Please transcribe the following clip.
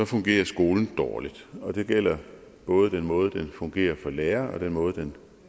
fungerer skolen dårligt og det gælder både den måde den fungerer på for lærere og den måde den